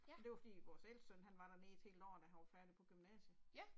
Ja. Ja